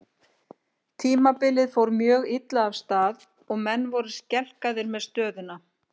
Tímabilið fór mjög illa af stað og menn voru skelkaðir með stöðuna.